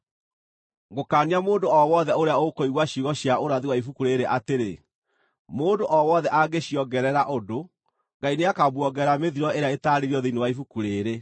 Ngũkaania mũndũ o wothe ũrĩa ũkũigua ciugo cia ũrathi wa ibuku rĩĩrĩ atĩrĩ: Mũndũ o wothe angĩciongerera ũndũ, Ngai nĩakamuongerera mĩthiro ĩrĩa ĩtaarĩirio thĩinĩ wa ibuku rĩĩrĩ.